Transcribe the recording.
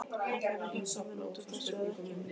Ætlarðu að hjálpa mér út úr þessu eða ekki?